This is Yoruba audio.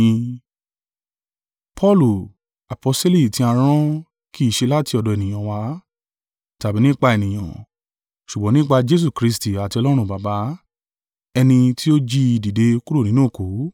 Paulu, aposteli tí a rán kì í ṣe láti ọ̀dọ̀ ènìyàn wá, tàbí nípa ènìyàn, ṣùgbọ́n nípa Jesu Kristi àti Ọlọ́run Baba, ẹni tí ó jí i dìde kúrò nínú òkú.